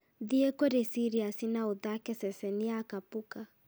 thiĩ kũrĩ sirius na ũthaake ceceni ya kapuka